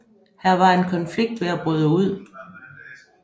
Her var en konflikt ved at bryde ud